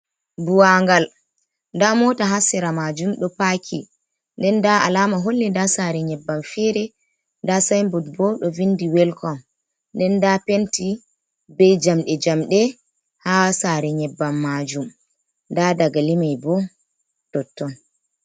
Buwangal nda mota ha sera majum ɗo paki, nden nda alama holli nda sare nyebban fere nda sibot bo ɗo vindi welcom, nden nda penti be jamde jamde ha sare nyebban majum da dangali mei bo totton.